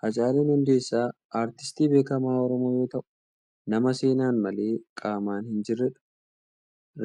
Haacaaluun Hundeessaa Artistii beekamaa Oromoo yoo ta'u, nama seenaan malee qaamaan hin jirredha.